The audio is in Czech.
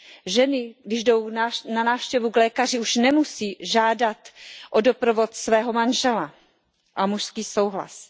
Ženy, když jdou na návštěvu k lékaři, už nemusí žádat o doprovod svého manžela a mužský souhlas.